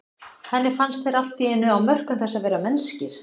Henni fannst þeir allt í einu á mörkum þess að vera mennskir.